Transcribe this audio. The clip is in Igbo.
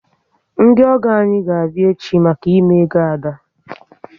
Ndi ogo anyị ga abịa echi maka ime ego Ada